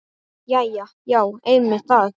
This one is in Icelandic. Jæja já, einmitt það.